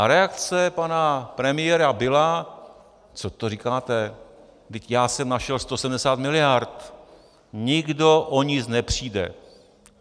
A reakce pana premiéra byla: co to říkáte, vždyť já jsem našel 170 miliard, nikdo o nic nepřijde.